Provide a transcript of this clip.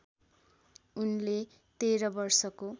उनले १३ वर्षको